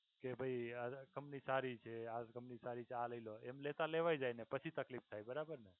કે ભાઈ આ company સારી છે company સારી છે એમ લેતા લેવાય જાય ને પછી તકલીફ થાય બરાબર ને